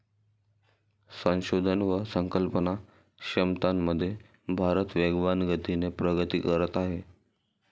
संशोधन व संकल्पना क्षमतांमध्ये भारत वेगवान गतीने प्रगती करत आहे.